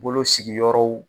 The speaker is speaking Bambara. Bolo sigiyɔrɔw